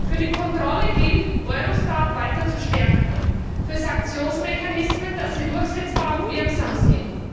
Für die Kontrolle gilt, Eurostat weiter zu stärken, für Sanktionsmechanismen, dass sie durchsetzbar und wirksam sind.